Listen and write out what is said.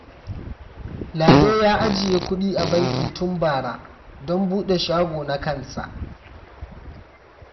Lado ya ajiye kudi a banki tun bara don bude shago na kansa.